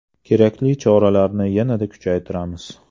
Kerakli choralarni yanada kuchaytiramiz.